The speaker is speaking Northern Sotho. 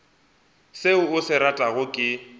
seo a se ratago ke